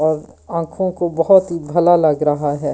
आंखों को बहुत ही भला लग रहा है।